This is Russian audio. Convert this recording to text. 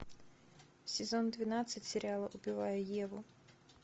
сезон двенадцать сериала убивая еву